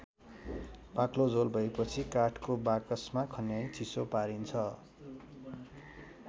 बाक्लो झोल भएपछि काठको बाकसमा खन्याई चिसो पारिन्छ।